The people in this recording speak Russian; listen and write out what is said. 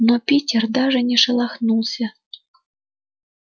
но питер даже не шелохнулся